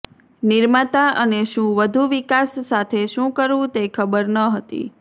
નિર્માતા અને શું વધુ વિકાસ સાથે શું કરવું તે ખબર ન હતી